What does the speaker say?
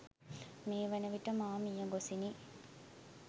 මේ වන විට මා මියගොසිිනි